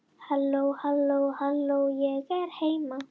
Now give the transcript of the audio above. Hér er átt við rökstuðning í víðri merkingu orðsins.